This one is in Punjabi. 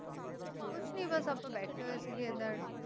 ਕੁਝ ਨਹੀਂ ਬੱਸ ਬੈਠੇ ਐ